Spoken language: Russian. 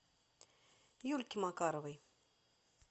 юльки макаровой